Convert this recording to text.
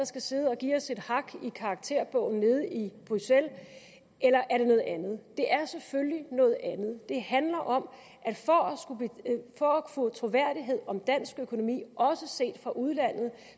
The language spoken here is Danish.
skal sidde og give os et hak i karakterbogen nede i bruxelles eller er det noget andet det er selvfølgelig af noget andet det handler om at for at få troværdighed om dansk økonomi også set fra udlandet